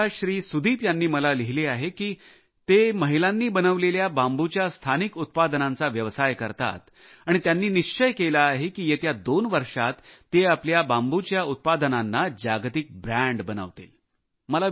आसामच्या सुदीप यांनी मला लिहिले आहे की ते महिलांनी बनवलेल्या बांबूच्या स्थानिक उत्पादनांचा व्यवसाय करतात आणि त्यांनी निश्चय केला आहे की येत्या 2 वर्षात ते आपल्या बांबूच्या उत्पादनाला जागतिक ब्रँड बनवतील